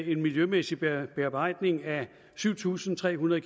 en miljømæssig bearbejdning af syv tusind tre hundrede